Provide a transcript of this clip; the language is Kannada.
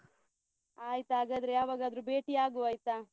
ಆಯ್ತ್ ಹಾಗಾದ್ರೆ ಯಾವಾಗಾದ್ರು ಬೇಟಿಯಾಗುವ ಆಯ್ತಾ?